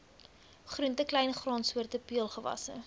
groente kleingraansoorte peulgewasse